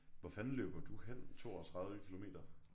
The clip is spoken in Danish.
Hvor fanden løber du hen 32 kilometer?